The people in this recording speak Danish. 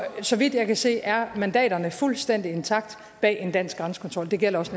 så vidt jeg kan se er mandaterne fuldstændig intakte bag en dansk grænsekontrol det gælder også